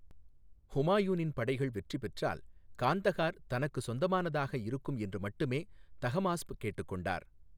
ஹுமாயூனின் படைகள் வெற்றி பெற்றால், காந்தகார் தனக்கு சொந்தமானதாக இருக்கும் என்று மட்டுமே தஹமாஸ்ப் கேட்டுக் கொண்டார்.